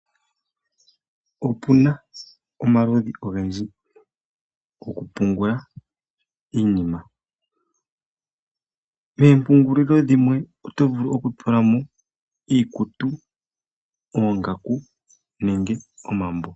Opu na omaludhi ogendji go ku pungula iinima. Meempungulilo dhimwe oto vulu oku tula mo iikutu, oongaku nenge omambo.